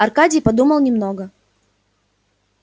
аркадий подумал немного